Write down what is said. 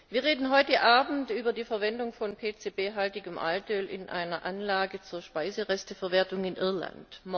Wir reden heute Abend über die Verwendung von PCB haltigem Altöl in einer Anlage zur Speiseresteverwertung in Irland.